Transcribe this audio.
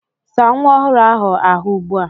Saa nwa ọhụrụ ahụ́ ahụ̀ ugbu a!